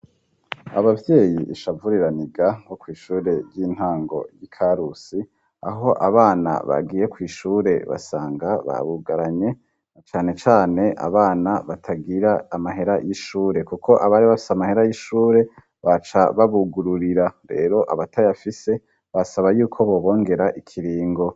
Abavyeyi ishavu riraniga bo kw'ishure ry'intango y'i Karusi aho abana bagiye kw' ishure basanga babugaranye, canecane abana batagira amahera y'ishure , kuko abari bafise amahera y'ishure baca babugururira. Rero abatayafise, basaba yuko bobongera ikiringo.